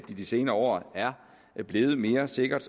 i de senere år er blevet mere sikkert